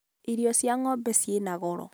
irio cia ng'ombe ciĩ na goro